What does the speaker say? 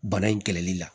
Bana in kɛlɛli la